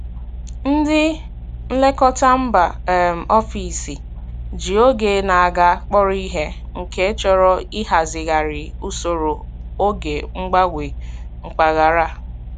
Ndị nlekọta mba um ofesi ji oge na-aga kpọrọ ihe, nke chọrọ ịhazigharị usoro oge mgbanwe mpaghara.